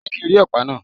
Jẹ́ kí ń rí ọ̀pá náà.!